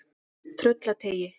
Tröllateigi